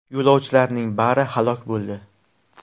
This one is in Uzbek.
Yo‘lovchilarning bari halok bo‘ldi.